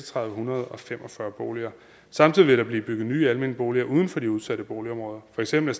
hundrede og fem og fyrre boliger samtidig vil der blive bygget nye almene boliger uden for de udsatte boligområder for eksempel